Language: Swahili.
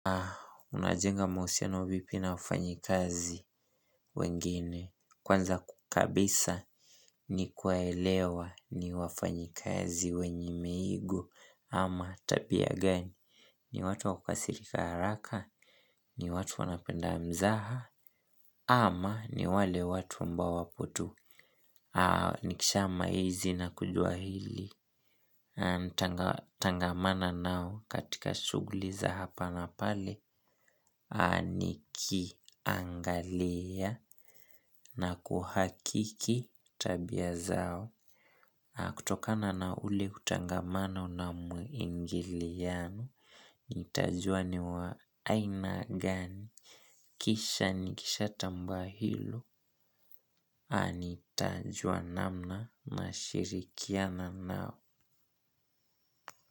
Unajenga mahusiano vipi na wafanyikazi wengine kwanza kabisa ni kuwaelewa ni wafanyikazi wenye miigo ama tabia gani ni watu wa kukasirika haraka. Ni watu wanapenda mzaha. Ama ni wale watu ambao wapo tu. Nikishamaizi na kujua hili. Tangamana nao katika shughuli za hapa na pale nikiangalia na kuhakiki tabia zao kutokana na ule utangamano na mwingiliano nitajua ni wa aina gani kisha nikishatambaa hilo nitajua namna nashirikiana nao.